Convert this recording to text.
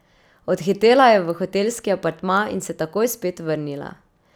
Odhitela je v hotelski apartma in se takoj spet vrnila.